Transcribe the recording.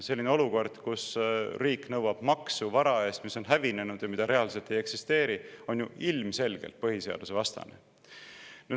Selline olukord, kus riik nõuab maksu vara eest, mis on hävinenud ja mida reaalselt ei eksisteeri, on ju ilmselgelt põhiseadusvastane.